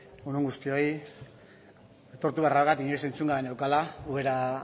egun on guztioi aitortu beharra dut inoiz entzun gabe neukala ubera